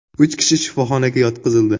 Uch kishi shifoxonaga yotqizildi.